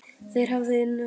Þeir hefðu innihald.